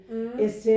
Mh